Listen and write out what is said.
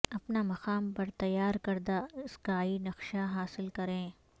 اپنا مقام پر تیار کردہ اسکائی نقشہ حاصل کریں